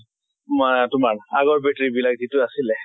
মা তোমাৰ আগৰ battery বিলাক যিটো আছিলে